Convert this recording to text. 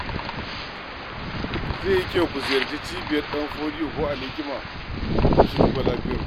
Zai yi kyau ku ziyarci cibiyar Ɗanfodiyo ko Alhikima don su duba lafiyarku.